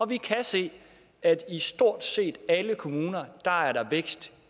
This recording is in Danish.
vi kan se at i stort set alle kommuner er der vækst